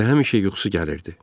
Elə həmişə yuxusu gəlirdi.